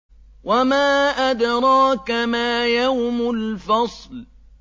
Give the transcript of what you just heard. وَمَا أَدْرَاكَ مَا يَوْمُ الْفَصْلِ